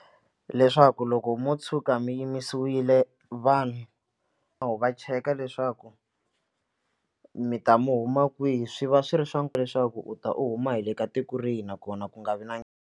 Leswaku loko mo tshuka mi yimisiwile vanhu va cheka leswaku mi ta mi huma kwihi swi va swi ri swa leswaku u ta u huma hi le ka tiko rihi nakona ku nga vi na.